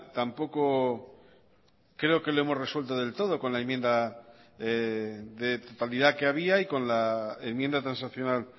tampoco creo que lo hemos resuelto del todo con la enmienda de totalidad que había y con la enmienda transaccional